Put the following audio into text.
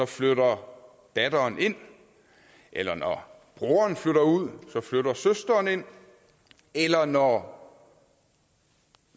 flytter datteren ind eller når broren flytter ud flytter søsteren ind eller når